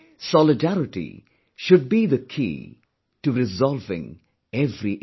Solidarity should be the key to resolving every issue